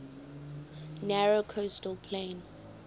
narrow coastal plain